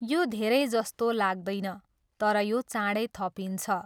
यो धेरै जस्तो लाग्दैन, तर यो चाँडै थपिन्छ।